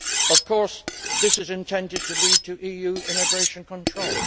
Of course, this is intended to lead to EU immigration control.